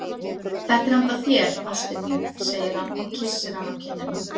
Þetta er handa þér, ástin mín, segir hann og kyssir hana á kinnina.